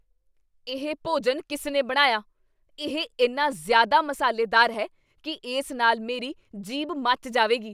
ਇਹ ਭੋਜਨ ਕਿਸ ਨੇ ਬਣਾਇਆ? ਇਹ ਇੰਨਾ ਜ਼ਿਆਦਾ ਮਸਾਲੇਦਾਰ ਹੈ ਕੀ ਇਸ ਨਾਲ ਮੇਰੀ ਜੀਭ ਮੱਚ ਜਾਵੇਗੀ।